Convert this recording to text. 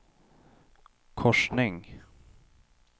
korsning